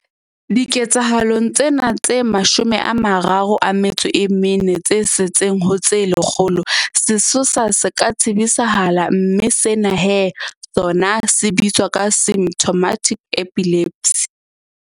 Diketsahalong tsena tse 34 tse setseng ho tse lekgolo, sesosa se ka tsebisahala mme sena he sona se bitswa symptomatic epilepsy.